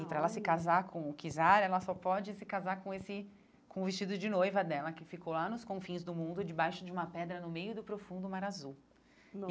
Olha E para ela se casar com o Kizar, ela só pode se casar com esse com o vestido de noiva dela, que ficou lá nos confins do mundo, debaixo de uma pedra, no meio do profundo mar azul.